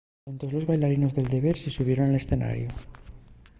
entós los baillarinos de derviche xubieron al escenariu